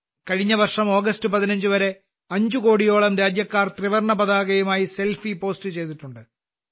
കഴിഞ്ഞ വർഷം ഓഗസ്റ്റ് 15വരെ അഞ്ച്കോടിയോളം രാജ്യക്കാർ ത്രിവർണപതാകയുമായി സെൽഫി പോസ്റ്റ് ചെയ്തിട്ടുണ്ട്